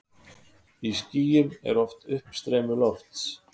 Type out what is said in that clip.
Í skýjum er oft uppstreymi lofts.